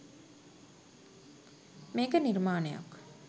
මේක නිර්මාණයක්